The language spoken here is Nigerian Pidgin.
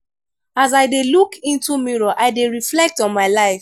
as i dey look into mirror i dey reflect on my life.